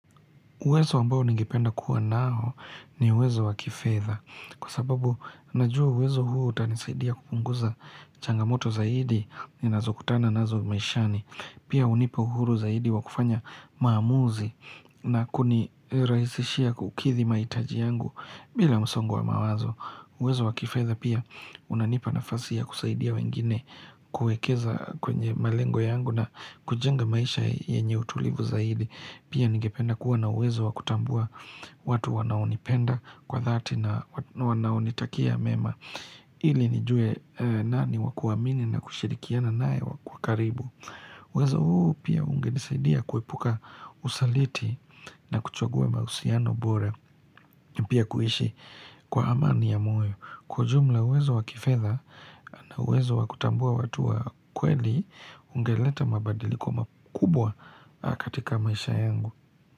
Uwezo ambao ningipenda kuwa nao ni uwezo wakifedha. Kwa sababu najua uwezo huu utanisaidia kupunguza changamoto zaidi ninazo kutana nazo maishani. Pia hunipa uhuru zaidi wa kufanya maamuzi na kunirahisishia kukidhi maitaji yangu bila msongo wa mawazo. Uwezo wa kifedha pia unanipa nafasi ya kusaidia wengine kuekeza kwenye malengo yangu na kujenga maisha yenye utulivu zaidi. Pia nigependa kuwa na uwezo wa kutambua watu wanaonipenda kwa dhati na wanaonitakia mema ili nijue nani wakuamini na kushirikiana nae wakaribu uwezo huu pia ungenisaidia kuepuka usaliti na kuchugua mahusiano bora Pia kuishi kwa amani ya moyo Kwa jumla uwezo wa kifedha na uwezo wa kutambua watu wa kweli ungeleta mabadiliko makubwa katika maisha yangu.